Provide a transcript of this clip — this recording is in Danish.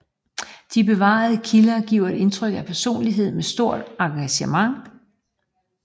De bevarede kilder giver et indtryk af en personlighed med stor engagement